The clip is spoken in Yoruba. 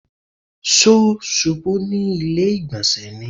Ṣó ṣubú ní ilé ìgbọ̀nsẹ̀ ni?